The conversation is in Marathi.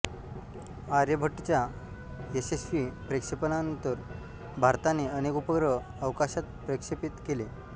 आर्यभट्टच्या यशस्वी प्रक्षेपणानंतर भारताने अनेक उपग्रह अवकाशात प्रक्षेपित केले